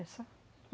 É só.